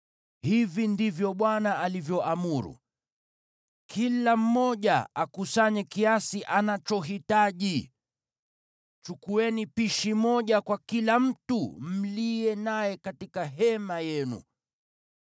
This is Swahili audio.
Hivi ndivyo Bwana alivyoamuru: ‘Kila mmoja akusanye kiasi anachohitaji. Chukueni pishi moja kwa kila mtu mliye naye katika hema yenu.’ ”